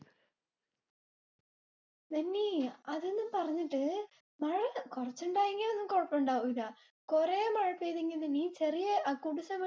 നിനി അതൊന്നും പറഞ്ഞിട്ട് മഴ കുറച്ചിണ്ടായിരുനെങ്ങി ഒന്നും കുഴപ്പമിണ്ടാവൂല. കുറെ മഴ പെയ്തെങ്കി നിന ചേരിയെ കുടിസ്